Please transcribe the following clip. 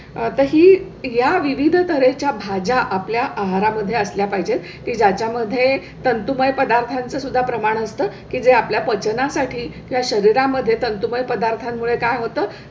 ही या विविध तऱ्हे च्या भाज्या आपल्या आहारा मध्ये असल्या पाहिजे. त्याच्या मध्ये तंतुमय पदार्थांचा सुद्धा प्रमाण असतं की जे आपल्या पचना साठी त्या शरीरा मध्ये तंतुमय पदार्था मुळे काय होतं?